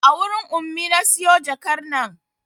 A wurin Ummi na siyo jakar nan